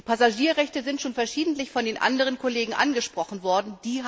Die Passagierrechte sind schon verschiedentlich von den anderen Kollegen angesprochen worden.